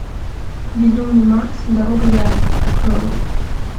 безумный макс дорога ярости открой